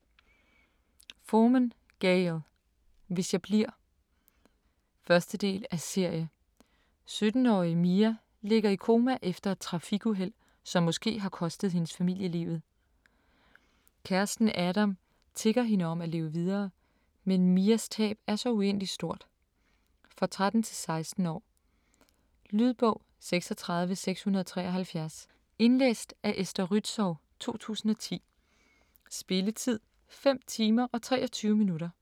Forman, Gayle: Hvis jeg bliver 1. del af serie. 17-årige Mia ligger i koma efter et trafikuheld, som måske har kostet hendes familie livet. Kæresten Adam tigger hende om at leve videre, men Mias tab er så uendelig stort. For 13-16 år. Lydbog 36673 Indlæst af Esther Rützou, 2010. Spilletid: 5 timer, 23 minutter.